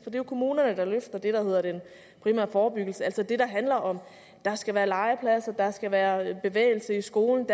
jo kommunerne der løfter det der hedder den primære forebyggelse altså det der handler om at der skal være legepladser at der skal være bevægelse i skolen